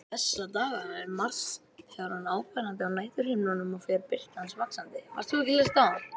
Þessa dagana er Mars þegar orðinn áberandi á næturhimninum og fer birta hans vaxandi.